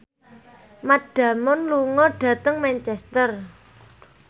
Matt Damon lunga dhateng Manchester